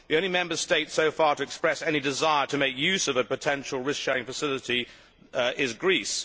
The only Member State so far to express any desire in making use of a potential risk sharing facility is Greece.